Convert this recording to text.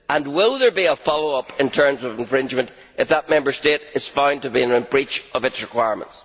Will there be a follow up in terms of infringement if that Member State is found to be in breach of its requirements?